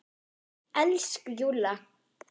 Elsku Júlla!